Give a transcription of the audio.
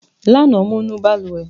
Lánàá, mo nu balùwẹ̀.